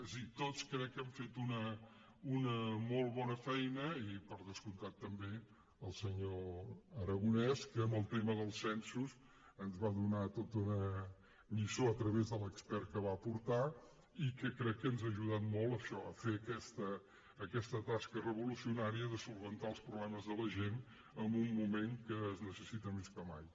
és a dir tots crec hem fet una molt bona feina i per descomptat també el senyor aragonès que en el tema dels censos ens va donar tota una lliçó a través de l’expert que va portar i que crec que ens ha ajudat molt a això a fer aquesta tasca revolucionària de resoldre els problemes de la gent en un moment que es necessita més que mai